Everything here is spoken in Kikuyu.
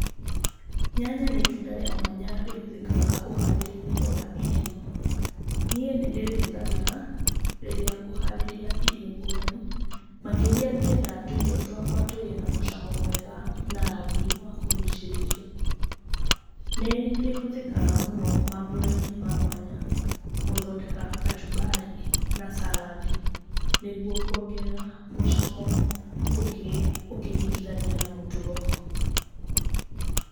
Nyanya nĩ itunda rĩa mwanya rĩhũthĩkaga ũharĩria-inĩ wa irio. Niĩ nĩ ndĩrĩhũthagĩra rĩrĩa ngũharĩria irio ngũrani, makĩria ngĩenda tũirio twakwa tũgĩe na mũcamo mwega na rangĩ wa kũgucĩrĩria. Nĩ rĩhũthĩkaga mũno maambũra-inĩ mamwanya, gũthondeka kachumbari na salad, nĩguo kuongerera mũcamo ũngĩ ũkĩringithania na mũtugo.